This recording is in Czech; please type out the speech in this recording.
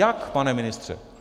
Jak, pane ministře?